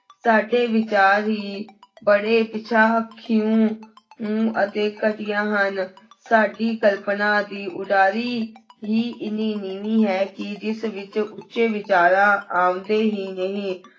ਸਾਡੇ ਵਿਚਾਰ ਹੀ ਬੜੇ ਪਿਛਾਂਹ ਕਿਉਂ ਨੂੰ ਅਤੇ ਘਟੀਆ ਹਨ, ਸਾਡੀ ਕਲਪਨਾ ਦੀ ਉਡਾਰੀ ਹੀ ਇੰਨੀ ਨੀਵੀਂ ਹੈ ਕਿ ਜਿਸ ਵਿੱਚ ਉੱਚੇ ਵਿਚਾਰਾਂ ਆਉਂਦੇ ਹੀ ਨਹੀਂ।